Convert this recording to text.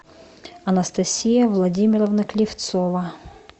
анастасия владимировна клевцова